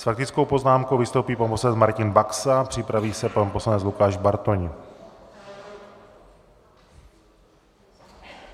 S faktickou poznámkou vystoupí pan poslanec Martin Baxa, připraví se pan poslanec Lukáš Bartoň.